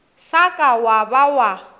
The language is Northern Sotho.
sa ka wa ba wa